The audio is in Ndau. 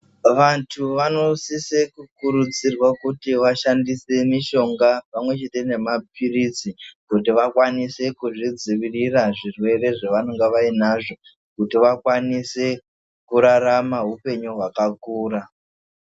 Vanhu vanosise kukurudzirwa kuti vashandise pamwechete nemapirizi kuzvidziwirira zvirwere zvavanenge vainazvo kuti vakwanise kurarama hupenyu kwakakura.